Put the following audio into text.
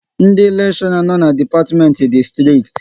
Ndị lekshora no n'dipatimenti dị strikt